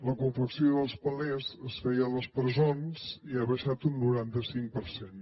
la confecció dels palets es feia a les presons i ha baixat un noranta cinc per cent